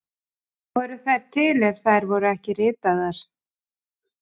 Voru þær til ef þær voru ekki ritaðar?